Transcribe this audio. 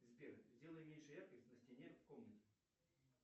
сбер сделай меньше яркость на стене в комнате